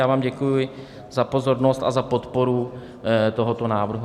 Já vám děkuji za pozornost a za podporu tohoto návrhu.